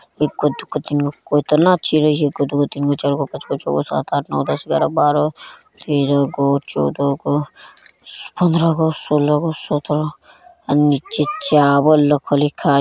एगो दुगो तीनगो केतना चिरई हई | एगो दूगो तीनगो चारगो पाँचगो छौगो सात आठ नौ दस एगारह बारह तेरह गो चौदह गो पंद्रह गो सोलह गो सत्रह अ निचे चावल रखल हई खाए --